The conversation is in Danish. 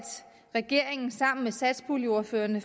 regeringen sammen med satspuljeordførerne